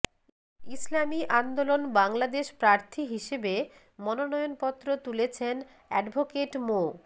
ইসলামী আন্দোলন বাংলাদেশ প্রার্থী হিসেবে মনোনয়নপত্র তুলেছেন অ্যাডভোকেট মো